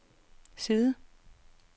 side